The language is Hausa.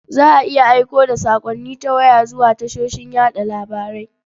Za a iya aiko da saƙonni ta waya zuwa tashoshin yaɗa labarai.